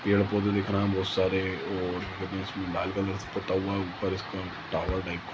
पेड़-पौधे दिख रहे हैं बहोत सारे और इसमें लाल कलर से पुता हुआ ऊपर इसका टावर टाइप का --